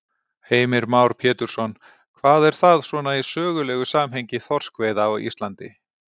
Heimir Már Pétursson: Hvað er það svona í sögulegu samhengi þorskveiða á Íslandi?